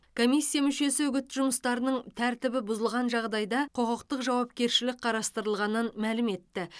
комиссия мүшесі үгіт жұмыстарының тәртібі бұзылған жағдайда құқықтық жауапкершілік қарастырылғанын мәлім етті